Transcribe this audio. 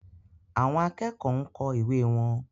Àwọn akẹ́kọ̀ọ́ ń kọ ìwé wọn.